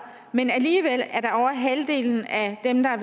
men alligevel er det over halvdelen af dem der er